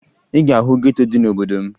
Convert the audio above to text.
Ị ga-ahụ geto dị n'obodo m